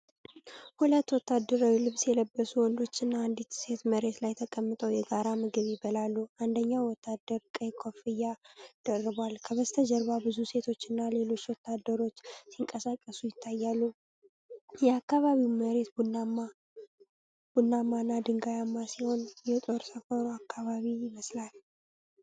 ሁለት ወታደራዊ ልብስ የለበሱ ወንዶችና አንዲት ሴት መሬት ላይ ተቀምጠው የጋራ ምግብ ይበላሉ። አንደኛው ወታደር ቀይ ኮፍያ ደርቧል። ከበስተጀርባ ብዙ ሴቶችና ሌሎች ወታደሮች ሲንቀሳቀሱ ይታያሉ። የአካባቢው መሬት ቡናማና ድንጋያማ ሲሆን፣ የጦር ሰፈሩ አካባቢ ይመስላል።